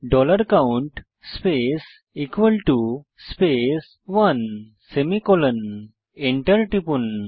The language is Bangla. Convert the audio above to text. dollar count space space 1 semicolon enter টিপুন